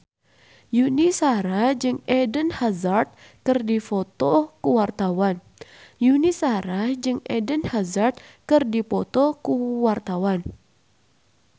Yuni Shara jeung Eden Hazard keur dipoto ku wartawan